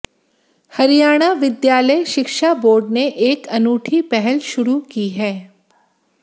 हरियाणा विद्यालय शिक्षा बोर्ड ने एक अनूठी पहल शुरू की है